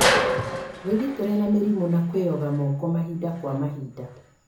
Wĩgitĩre na mĩrimũ na kwĩyoga moko mahinda kwa mahinda